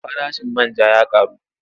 Farashin man ja ya ƙaru.